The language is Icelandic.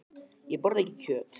Ég borða ekki kjöt.